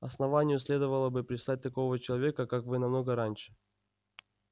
основанию следовало бы прислать такого человека как вы намного раньше